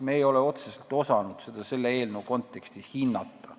Me ei ole osanud seda otseselt selle eelnõu kontekstis hinnata.